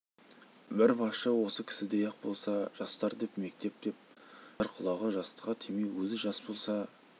бір басшы осы кісідей-ақ болса жастар деп мектеп деп жар құлағы жастыққа тимей өзі жас болса